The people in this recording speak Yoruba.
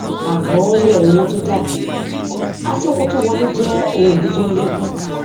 àkọólè owó tó jáde àti owó tó wọlé jẹ ohun ìní tó ń lékún